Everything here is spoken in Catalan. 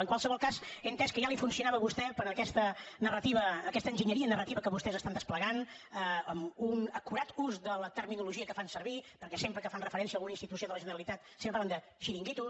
en qualsevol cas ja he entès que li funcionava a vostè per a aquesta enginyeria narrativa que vostès despleguen amb un acurat ús de la terminologia que fan servir perquè sempre que fan referència a alguna institució de la generalitat parlen de xiringuitos